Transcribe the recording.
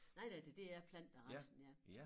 Nej nej det det er planter resten ja